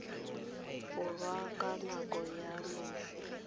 borwa ka nako ya loso